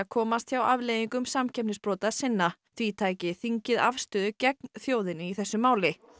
komast hjá afleiðingum samkeppnisbrota sinna því tæki þingið afstöðu gegn þjóðinni í þessu máli